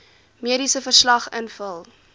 mediese verslag invul